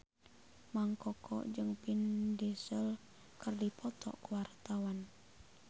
Mang Koko jeung Vin Diesel keur dipoto ku wartawan